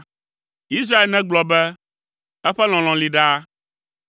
Israel negblɔ be; “Eƒe lɔlɔ̃ li ɖaa.”